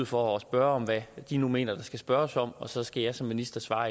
for at spørge om hvad de nu mener der skal spørges om og så skal jeg som minister svare